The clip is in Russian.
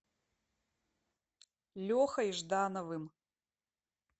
лехой ждановым